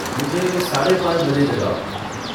मुझे साढ़े पाँच बजे जगाओ